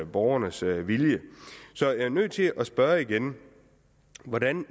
borgernes vilje så jeg er nødt til at spørge igen hvordan